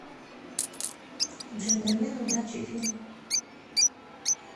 джентльмены удачи фильм